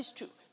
That is true.